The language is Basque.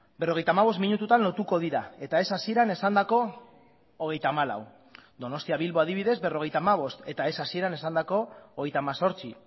berrogeita hamabost minututan lotuko dira eta ez hasieran esandako hogeita hamalau donostia bilbo adibidez berrogeita hamabost eta ez hasieran esandako hogeita hemezortzi